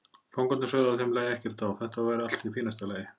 Fangarnir sögðu að þeim lægi ekkert á, þetta væri allt í fínasta lagi.